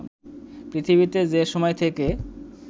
পৃথিবীতে যে সময় থেকে